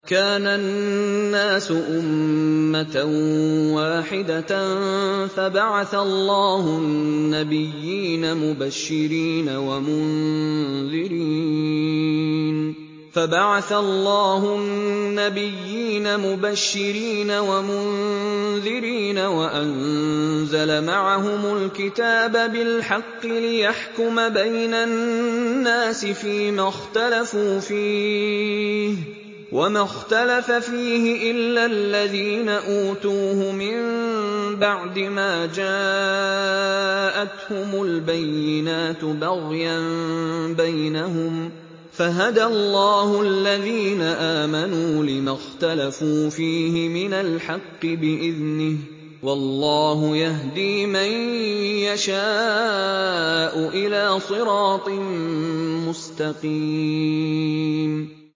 كَانَ النَّاسُ أُمَّةً وَاحِدَةً فَبَعَثَ اللَّهُ النَّبِيِّينَ مُبَشِّرِينَ وَمُنذِرِينَ وَأَنزَلَ مَعَهُمُ الْكِتَابَ بِالْحَقِّ لِيَحْكُمَ بَيْنَ النَّاسِ فِيمَا اخْتَلَفُوا فِيهِ ۚ وَمَا اخْتَلَفَ فِيهِ إِلَّا الَّذِينَ أُوتُوهُ مِن بَعْدِ مَا جَاءَتْهُمُ الْبَيِّنَاتُ بَغْيًا بَيْنَهُمْ ۖ فَهَدَى اللَّهُ الَّذِينَ آمَنُوا لِمَا اخْتَلَفُوا فِيهِ مِنَ الْحَقِّ بِإِذْنِهِ ۗ وَاللَّهُ يَهْدِي مَن يَشَاءُ إِلَىٰ صِرَاطٍ مُّسْتَقِيمٍ